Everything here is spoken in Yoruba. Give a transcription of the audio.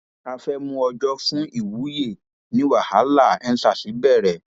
a fẹẹ mú ọjọ fún ìwúyẹ ni wàhálà endsars bẹrẹ